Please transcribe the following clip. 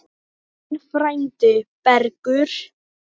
Þinn frændi, Bergur.